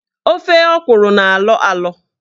Ofe ọkwụrụ na-alọ alọ.